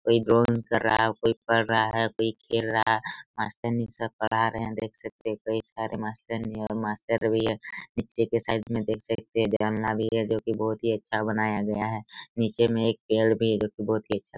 कोई ड्राइंग कर रहा है कोई पढ़ रहा है कोई खेल रहा है मास्टरी सर पढ़ा रहे है देख सकते है कई सारे मास्टरनी मास्टर भी है नीचे के साइड में देख सकते है जांलवी है जोकि बहोत ही अच्छा बनाया गया है नीचे में एक पेड़ भी है जोकि बहोत ही अच्छा--